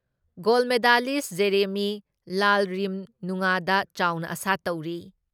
Goal medalist Jeremy ꯂꯥꯜꯔꯤꯝꯅꯨꯉꯥꯗ ꯆꯥꯎꯅ ꯑꯁꯥ ꯇꯧꯔꯤ ꯫